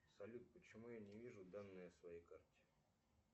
салют почему я не вижу данные о своей карте